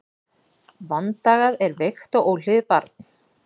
Vandagað er veikt og óhlýðið barn.